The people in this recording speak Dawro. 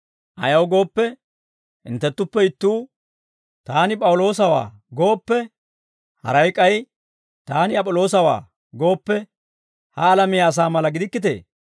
Ayaw gooppe, hinttenttuppe ittuu, «Taani P'awuloosawaa» gooppe, haray k'ay, «Taani Ap'iloosawaa» gooppe, ha alamiyaa asaa mala gidikkitee?